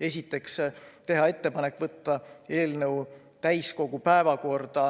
Esiteks, teha ettepanek võtta eelnõu täiskogu päevakorda